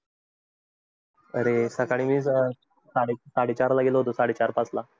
अरे सकाळी सकाळी आलो, त्यामध्ये साडे साडेचारला गेलो होतो साडेचार पाचला